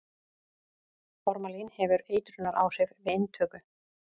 formalín hefur eitrunaráhrif við inntöku